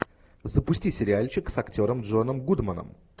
запусти сериальчик с актером джоном гудманом